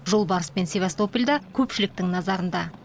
жолбарыс пен севастополь да көпшіліктің назарында